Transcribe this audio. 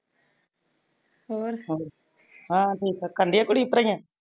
ਹੋਰ ਹੋਰ ਹਾ ਠੀਕ ਆ ਕਰਲਿਆ ਕੁੜੀਐ ਪੜਾਇਆ?